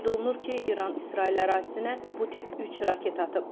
Qeyd olunur ki, İran İsrail ərazisinə bu tip üç raket atıb.